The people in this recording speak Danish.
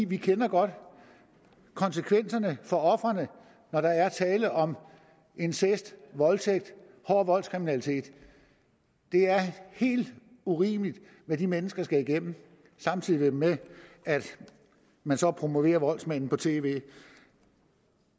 vi kender godt konsekvenserne for ofrene når der er tale om incest voldtægt hård voldskriminalitet det er helt urimeligt hvad de mennesker skal igennem samtidig med at man så promoverer voldsmanden på tv